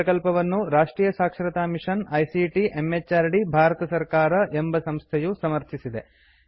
ಈ ಪ್ರಕಲ್ಪವನ್ನು ರಾಷ್ಟ್ರಿಯ ಸಾಕ್ಷರತಾ ಮಿಷನ್ ಐಸಿಟಿ ಎಂಎಚಆರ್ಡಿ ಭಾರತ ಸರ್ಕಾರ ಎಂಬ ಸಂಸ್ಥೆಯು ಸಮರ್ಥಿಸಿದೆ